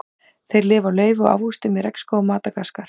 Þeir lifa á laufi og ávöxtum í regnskógum Madagaskar.